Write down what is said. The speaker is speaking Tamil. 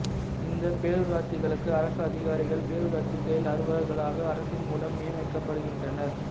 இந்த பேரூராட்சிகளுக்கு அரசு அதிகாரிகள் பேரூராட்சி செயல் அலுவலர்களாக அரசின் மூலம் நியமிக்கப்படுகின்றனர்